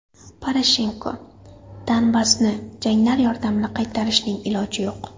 Poroshenko: Donbassni janglar yordamida qaytarishning iloji yo‘q.